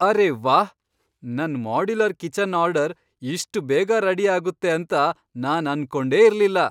ಅರೇ ವಾಹ್! ನನ್ modular kitchen order ಇಷ್ಟ್ ಬೇಗ ರೆಡಿ ಆಗುತ್ತೆ ಅಂತ ನಾನ್ ಅನ್ಕೊಂಡೇ ಇರ್ಲಿಲ್ಲ.